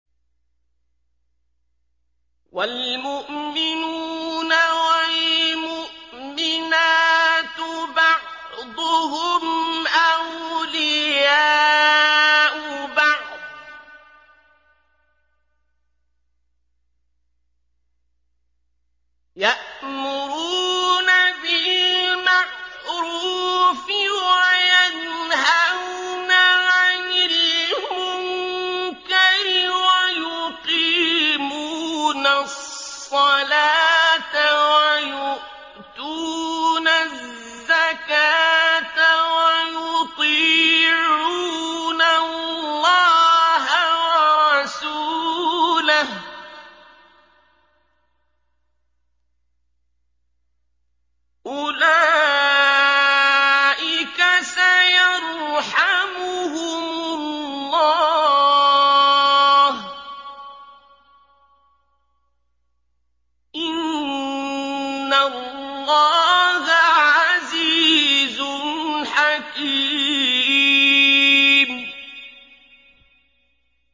وَالْمُؤْمِنُونَ وَالْمُؤْمِنَاتُ بَعْضُهُمْ أَوْلِيَاءُ بَعْضٍ ۚ يَأْمُرُونَ بِالْمَعْرُوفِ وَيَنْهَوْنَ عَنِ الْمُنكَرِ وَيُقِيمُونَ الصَّلَاةَ وَيُؤْتُونَ الزَّكَاةَ وَيُطِيعُونَ اللَّهَ وَرَسُولَهُ ۚ أُولَٰئِكَ سَيَرْحَمُهُمُ اللَّهُ ۗ إِنَّ اللَّهَ عَزِيزٌ حَكِيمٌ